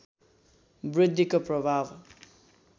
वृद्धिको प्रभाव